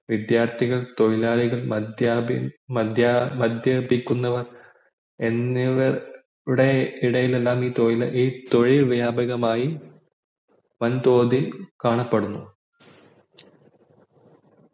വിദ്യാർത്ഥികൾ തൊഴിലാളികൾ മദ്യപി മദ്യപിക്കുന്നവർ എന്നിവരുടെ ഇടയിലെല്ലാം ഈ തൊഴിൽ വ്യപകമായി വൻതോതിൽ കാണപ്പെടുന്നു